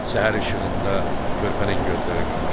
Səhər işığında körpənin gözləri qamaşır.